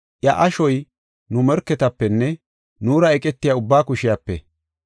Iya ashoy nu morketapenne nuura eqetiya ubbaa kushiyape.